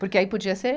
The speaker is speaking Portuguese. Porque aí podia ser...